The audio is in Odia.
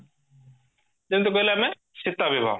ଯେମତି କହିଲେ ଆମେ ସିତା ବିବାହ